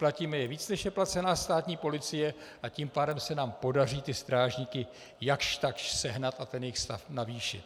Platíme je víc, než je placena státní policie, a tím pádem se nám podaří ty strážníky jakž takž sehnat a ten jejich stav navýšit.